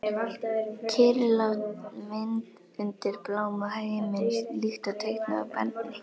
Kyrrlát mynd undir bláma himins, líkt og teiknuð af barni.